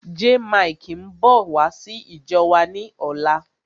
Jaymikee ń bọ̀ wá sí ìjọ wa ni ọ̀la.